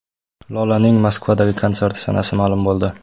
Lolaning Moskvadagi konserti sanasi ma’lum bo‘ldi.